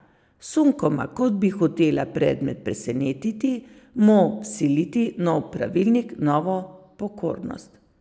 Sunkoma, kot bi hotela predmet presenetiti, mu vsiliti nov pravilnik, novo pokornost.